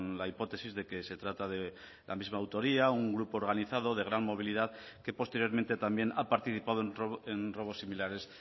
la hipótesis de que se trata de la misma autoría un grupo organizado de gran movilidad que posteriormente también ha participado en robos similares